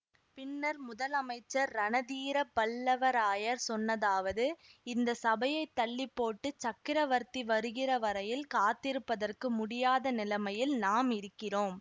பின்னர் முதல் அமைச்சர் ரணதீர பல்லவராயர் சொன்னதாவது இந்த சபையைத் தள்ளிப்போட்டு சக்கரவர்த்தி வருகிற வரையில் காத்திருப்பதற்கு முடியாத நிலைமையில் நாம் இருக்கிறோம்